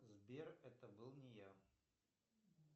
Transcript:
сбер это был не я